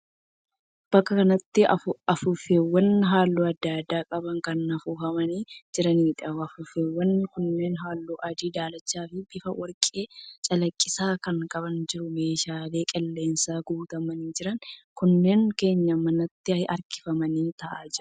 Bakka kanatti afuuffeewwan halluu adda addaa qaban kan afuufamanii jiraniidha. Afuuffeewwan kunneen halluu adii, daalacha fi bifa warqee calaqqisaa kan qaban jiru. Meeshaaleen qilleensaan guutamanii jiran kunneen keenyan manaatti hirkifamanii ta'aa jiru.